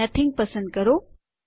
nothing પસંદ કરો